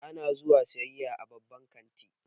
Ana zuwa sayayya a babban kanti